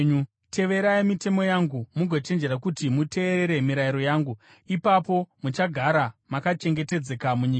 “ ‘Teverai mitemo yangu mugochenjerera kuti muteerere mirayiro yangu, ipapo muchagara makachengetedzeka munyika.